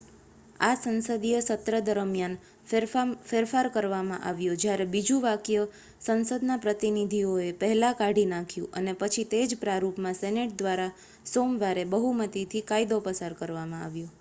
આ સંસદીય સત્ર દરમિયાન ફેરફાર કરવામાં આવ્યો જ્યારે બીજું વાક્ય સંસદના પ્રતિનિધિઓએ પહેલાં કાઢી નાખ્યું અને પછી તે જ પ્રારૂપમાં સેનેટ દ્વારા સોમવારે બહુમતીથી કાયદો પસાર કરવામાં આવ્યો